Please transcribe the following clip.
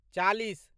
चालीस